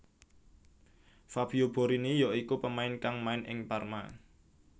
Fabio Borini ya iku pemain kang main ing Parma